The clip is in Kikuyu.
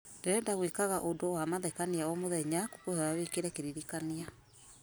ndĩrenda gwĩkaga ũndũ wa mathekania o mũthenya ngũkwĩhoya wĩkĩre kĩririkania